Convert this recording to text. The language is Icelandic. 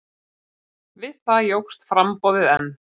Við það jókst framboðið enn.